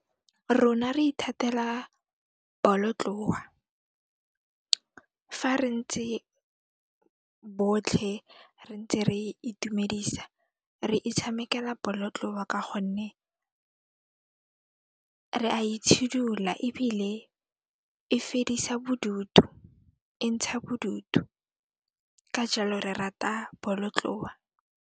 Rona re ithatela bolotloa fa re ntse botlhe, re ntse re itumedisa, re itshamekela bolotloa ka gonne re a itshidula ebile e fedisa bodutu, e ntsha bodutu ka jaalo re rata bolotloa.